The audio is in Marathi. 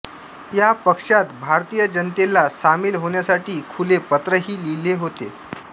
या पक्षात भारतीय जनतेला सामील होण्यासाठी खुल्ले पत्रही लिहिले होते